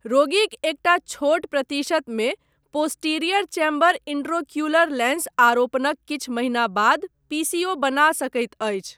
रोगिक एकटा छोट प्रतिशतमे, पोस्टीरियर चैम्बर इंट्रोक्युलर लेंस आरोपणक किछु महीना बाद पीसीओ बना सकैत अछि।